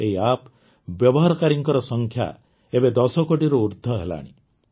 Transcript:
ଏହି ଆପ୍ ବ୍ୟବହାରକାରୀଙ୍କ ସଂଖ୍ୟା ଏବେ ୧୦ କୋଟିରୁ ଉର୍ଦ୍ଧ୍ୱ ହେଲାଣି